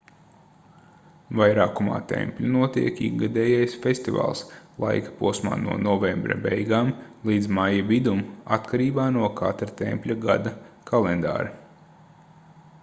vairākumā tempļu notiek ikgadējais festivāls laikposmā no novembra beigām līdz maija vidum atkarībā no katra tempļa gada kalendāra